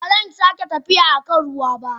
Ba zan sake tafiya a kan ruwa ba.